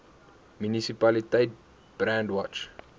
munisipaliteit brandwatch